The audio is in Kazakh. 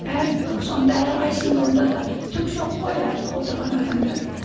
әр сонда әрқайсысында онда да түк жоқ қой әр отырған адамдарда